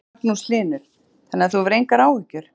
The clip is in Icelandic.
Magnús Hlynur: Þannig að þú hefur engar áhyggjur?